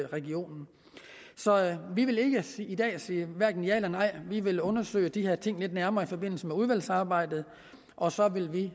regionen så vi vil i dag sige hverken ja eller nej vi vil undersøge de her ting lidt nærmere i forbindelse med udvalgsarbejdet og så vil vi